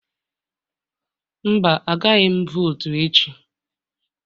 Mba, agaghị m votu echi